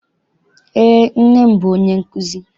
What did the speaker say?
Eé, nne m bụ onye nkụzi.